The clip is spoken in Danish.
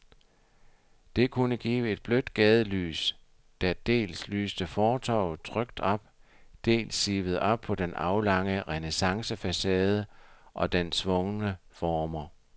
Det kunne give et blødt gadelys, der dels lyste fortovet trygt op, dels sivede op på den aflange renæssancefacade og dens svungne former.